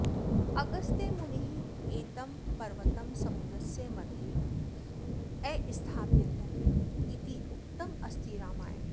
अगस्त्यमुनिः एतं पर्वतं समुद्रस्य मध्ये अस्थापयत् इति उक्तम् अस्ति रामायणे